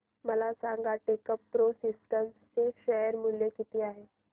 मला सांगा Techpro systems चे शेअर मूल्य किती आहे